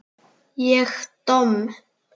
Ég domm?